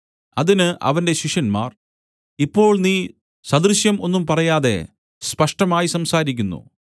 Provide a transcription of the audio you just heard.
അതിന് അവന്റെ ശിഷ്യന്മാർ ഇപ്പോൾ നീ സദൃശം ഒന്നും പറയാതെ സ്പഷ്ടമായി സംസാരിക്കുന്നു